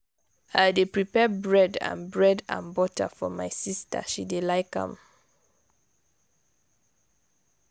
i dey prepare bread and bread and butter for my sista she dey like am.